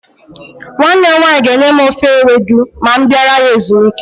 Nwanne m nwaanyị ga-enye m ofe ewedu ma m bịara ya ezumike.